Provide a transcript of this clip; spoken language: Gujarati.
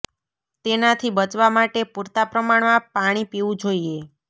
તેનાથી બચવા માટે પૂરતા પ્રમાણ માં પાણી પીવું જોઈએ